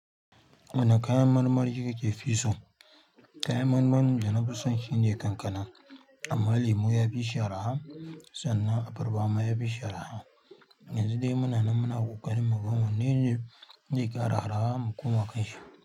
Wane kayan marmari kake fi so? Kayan marmarin da na fi so shine kankana. Amma lemu ya fi shi arha sannan abarba ma ya fi shi arha. Yanzun de muna nan muna ƙoƙarin mu ga wannene zai ƙara arha mu koma kan shi.